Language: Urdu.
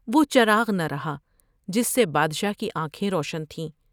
وہ چراغ نہ رہا جس سے بادشاہ کی آنکھیں روشن تھیں ۔